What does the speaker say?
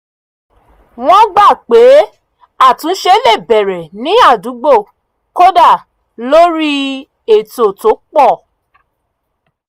wọ́n gbà pé àtúnṣe le bẹ̀rẹ̀ ní àdúgbò kódà lórí ètò tó pọ̀